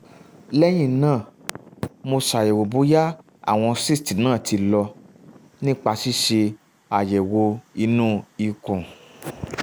lẹ́yìn náà mo ṣàyẹ̀wò bóyá àwọn cysts náà ti lọ nípa ṣíṣe um àyẹ̀wò inú ikùn